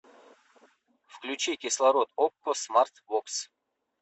включи кислород окко смарт бокс